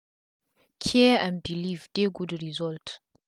care and belief dey good results